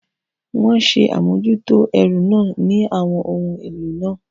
Wọ́n ṣe àmójútó ẹrù náà ní àwọn ohun èlò náà.